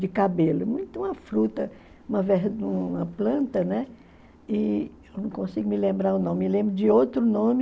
de cabelo, muito uma fruta, uma uma planta, né, e não consigo me lembrar o nome, me lembro de outro nome,